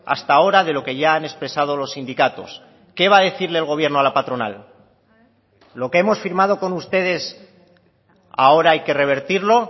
hasta ahora de lo que ya han expresado los sindicatos qué va a decirle el gobierno a la patronal lo que hemos firmado con ustedes ahora hay que revertirlo